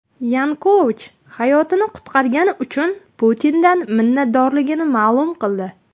Yanukovich hayotini qutqargani uchun Putindan minnatdorligini ma’lum qildi.